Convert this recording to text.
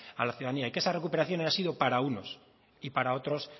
a la ciudadanía y que esa recuperación haya sido para unos y para otros